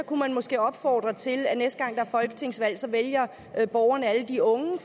kunne man måske opfordre til at næste gang der er folketingsvalg vælger borgerne alle de unge